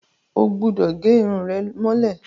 O gbúdọ̀ gẹ irun rẹ mọ́lẹ̀!